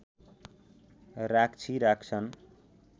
राक्षी राख्छन्